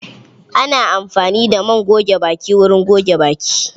Ana amfani da man goge baki wurin goge baki.